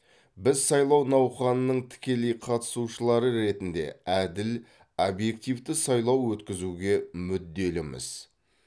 біз сайлау науқанының тікелей қатысушылары ретінде әділ объективті сайлау өткізуге мүдделіміз